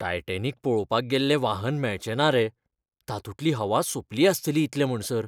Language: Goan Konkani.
टायटॅनिक पळोवपाक गेल्लें वाहन मेळचे ना रे, तातूंतली हवा सोंपली आसतली इतले म्हणसर.